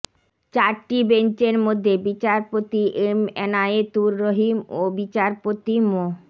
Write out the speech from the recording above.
চারটি বেঞ্চের মধ্যে বিচারপতি এম ইনায়েতুর রহিম ও বিচারপতি মো